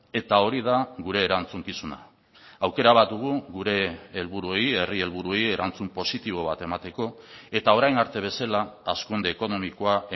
eta hori da gure erantzukizuna aukera bat dugu gure helburuei herri helburuei erantzun positibo bat emateko eta orain arte bezala hazkunde ekonomikoa